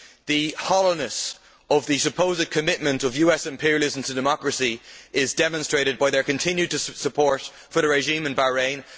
The hollowness of the supposed commitment of US imperialism to democracy is demonstrated by their continued support for the regime in Bahrain.